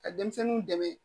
Ka denmisɛnninw dɛmɛ